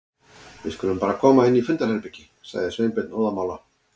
Við skulum bara koma inn í fundarherbergi- sagði Sveinbjörn óðamála.